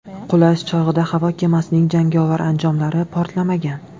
Qulash chog‘ida havo kemasining jangovar anjomlari portlamagan.